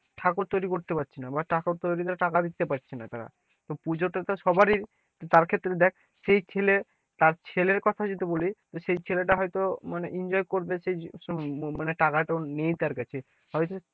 ঠাকুর তৈরি করতে পারছি না বা ঠাকুর তৈরি কর টাকা দিতে পারছে না তারা, তো পূজো তে তো সবারই তার ক্ষেত্রে দেখ সেই ছেলে তার ছেলের কথা যদি বলি সে ছেলে টা হয়তো মানে enjoy করবে সেই টাকা তও নেই তার কাছে হয়তো,